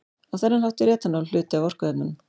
Á þennan hátt er etanól hluti af orkuefnunum.